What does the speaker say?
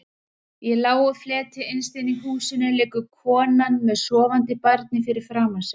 Í lágu fleti innst inni í húsinu liggur konan með sofandi barnið fyrir framan sig.